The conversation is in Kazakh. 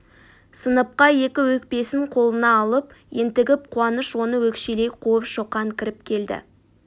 сыныпқа екі өкпесін қолына алып ентігіп қуаныш оны өкшелей қуып шоқан кіріп келді